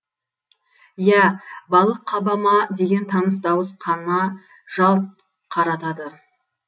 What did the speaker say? иә балық қаба ма деген таныс дауыс қана жалт қаратады